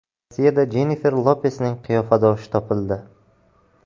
Rossiyada Jennifer Lopesning qiyofadoshi topildi .